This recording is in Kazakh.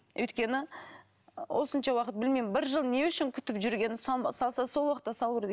өйткені осынша уақыт білмеймін бір жыл не үшін күтіп жүрген салса сол уақытта салу керек